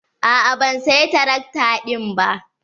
A'a ban saya tarakta ɗin ba.